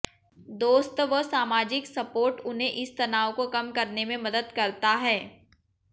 दोस्त व सामाजिक सपोर्ट उन्हें इस तनाव को कम करने में मदद करता है